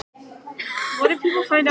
Skjöldur, hvað heitir þú fullu nafni?